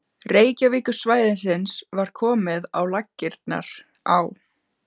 Reykjavíkursvæðisins var komið á laggirnar á